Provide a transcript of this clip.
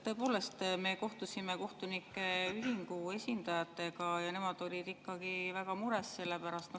Tõepoolest, me kohtusime kohtunike ühingu esindajatega ja nemad olid ikkagi väga mures.